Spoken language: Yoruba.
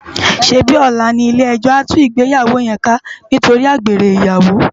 Sébi òlá ni ilé èjò á tú igbéyàwó yén ká nitóri ágbéré iyàwó?